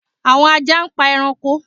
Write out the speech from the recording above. Awọn aja npa ẹranko